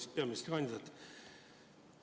Hea peaministrikandidaat!